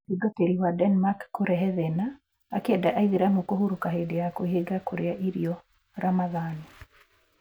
Mũtungatĩri wa Denmark kũrehe thĩna akĩenda aitheramu kũhurũka hĩndĩ ya kwĩhinga kũrĩa irio, Ramadhan.